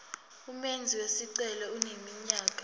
umenzi wesicelo eneminyaka